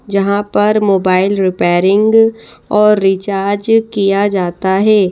जहाँ पर mobile repairing और रिचार्ज किया जाता है।